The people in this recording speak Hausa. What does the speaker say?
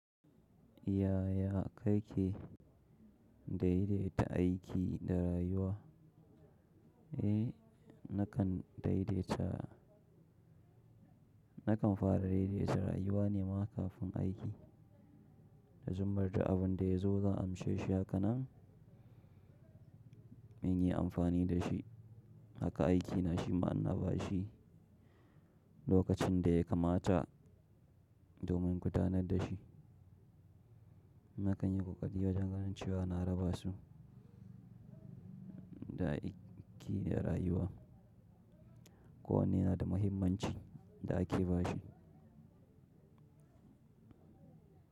Yaya kake daidaita aiki da rayuwa? Eh, nakan daidaita nakan fara daidaita rayuwa nema kafin aiki, da zubar da abin da ya zo zan amshe shi haka nan, in yi amfani da shi. Haka aiki na shima in na ba shi lokacin da ya kamata domin gudanar da shi. Nakan yi ƙoƙari wajen ganin cewa na raba su da aiki da rayuwa. Ko wanne na da muhimmanci da ake bashi.